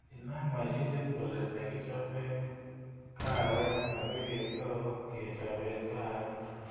Inam mashinit oli negichape kaawek asigetau kechopen kaawek